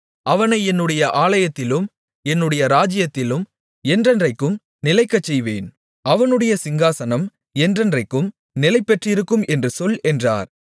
அவனை என்னுடைய ஆலயத்திலும் என்னுடைய ராஜ்ஜியத்திலும் என்றென்றைக்கும் நிலைக்கச்செய்வேன் அவனுடைய சிங்காசனம் என்றென்றைக்கும் நிலைபெற்றிருக்கும் என்று சொல் என்றார்